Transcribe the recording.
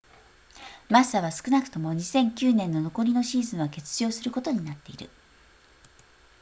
マッサは少なくとも2009年の残りのシーズンは欠場することになっている